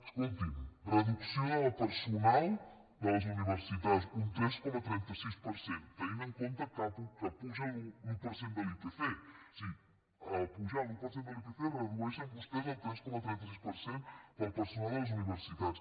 escolti’m reducció del personal de les universitats un tres coma trenta sis per cent tenint en compte que puja l’un per cent de l’ipc és a dir pujant l’un per cent de l’ipc redueixen vostès el tres coma trenta sis per cent del personal de les universitats